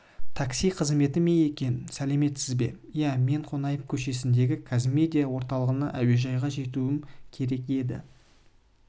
такси қызметі ме екен сәлеметсіз бе иә мен қонаев көшесіндегі қазмедиа орталығынан әуежайға жетуім керек еді